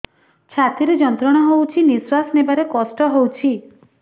ଛାତି ରେ ଯନ୍ତ୍ରଣା ହଉଛି ନିଶ୍ୱାସ ନେବାରେ କଷ୍ଟ ହଉଛି